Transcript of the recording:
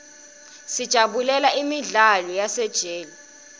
sijabulela imidlalo yasesiteji